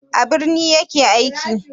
A birni ya ke aiki?